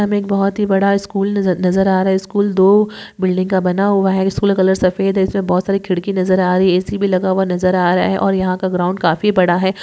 यहा मे बहोत ही बड़ा स्कूल नज़ नज़र आ रहा है स्कूल दो बिल्डिंग का बना हुआ है स्कूल कलर सफेद है इसे बहोत सारी खिड़की नज़र आ रही एसी भी लगा हुआ नज़र आ रहा है और यहा का ग्राउंड काफी बड़ा है।